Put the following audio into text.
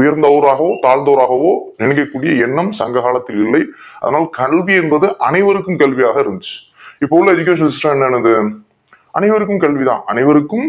உயர்ந்தவராகவும் தாழ்ந்தவராகவோ நினைக்க கூடிய எண்ணம் சங்ககாலத்தில் இல்லை ஆனால் கல்வி என்பது அனைவருக்கும் கல்வியாக இருந்துச்சி இப்ப உள்ள Education system என்னனது அனைவருக்கும் கல்வி தான் அனைவருக்கும்